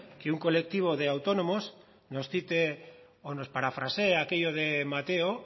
que un colectivo de autónomos nos cite o nos parafrasee aquello de mateo